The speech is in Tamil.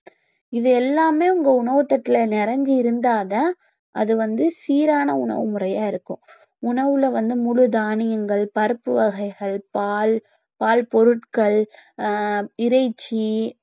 இது எல்லாமே உங்க உணவுத் தட்டுல நிறைஞ்சு இருந்தாதான் அது வந்து சீரான உணவு முறையா இருக்கும் உணவுல வந்து முழு தானியங்கள், பருப்பு வகைகள், பால், பால் பொருட்கள், ஆஹ் இறைச்சி